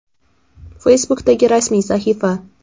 Facebook’dagi rasmiy sahifa: !